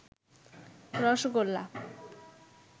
rasgulla